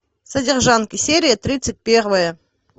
содержанки серия тридцать первая